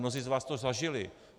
Mnozí z vás to zažili.